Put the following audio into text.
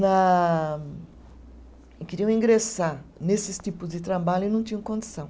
Na, queriam ingressar nesses tipos de trabalho e não tinham condição.